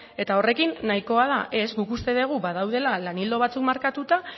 eta horrekin nahikoa da ez guk uste degu badaudela lan ildo batzuk markatuta